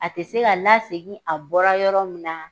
A tɛ se ka lasegin, a bɔra yɔrɔ min na